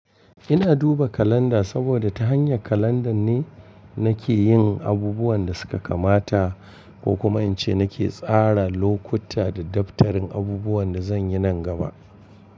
Ina duba kalanda saboda ta hanyar kalandan ne nake yin abubuwan da suka kamata ko kuma in ce nake tsara lokuta da daftarin abubuwan da zan yi nan gaba.